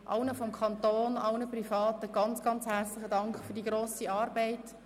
Ich danke allen Kantonsangestellten und allen Privaten herzlich für die grosse Arbeit.